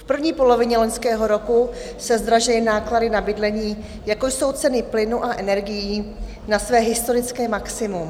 V první polovině loňského roku se zdražily náklady na bydlení, jako jsou ceny plynu a energií, na své historické maximum.